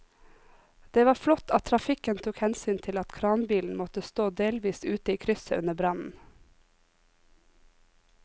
Det var flott at trafikken tok hensyn til at kranbilen måtte stå delvis ute i krysset under brannen.